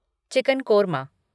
chicken korma